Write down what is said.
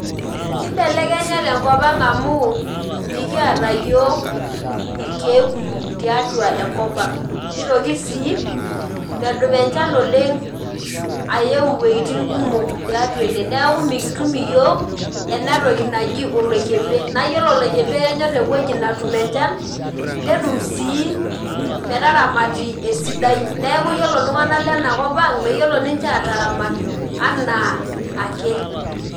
Kibelekenya tenkop ang amu mikiata yiok irkiek kumok tiatua enkop aang nitoki si medup enchan aeu atua enewueji neaku mikitum yiok enatoki naji oloikembe nayiolo oloikembe kenyor ewoi natum enchan netum si metaramati esidai, neaku ore ltunganak lenkopaang keyiolo ninche ataramat ana aake.